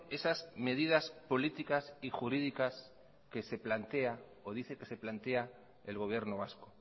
esas medidas políticas y jurídicas que se plantea o dice que se plantea el gobierno vasco